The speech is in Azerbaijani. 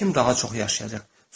Kim daha çox yaşayacaq?